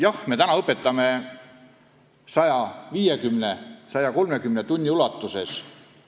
Jah, me õpetame eesti keelt oma õpilastele 150 või 130 tunni ulatuses.